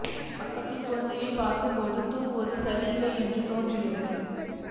பக்கத்தில் குழந்தையைப் பார்க்கும் போது தூங்குவது சரி இல்லை என்று தோன்றியது